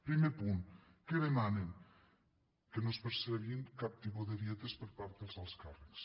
primer punt què demanen que no es percebin cap tipus de dietes per part dels alts càrrecs